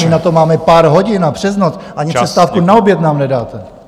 My na to máme pár hodin a přes noc, ani přestávku na oběd nám nedáte!